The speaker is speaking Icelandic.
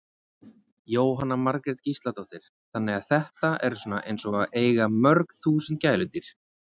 Jóhanna Margrét Gísladóttir: Þannig að þetta eru svona eins og að eiga mörg þúsund gæludýr?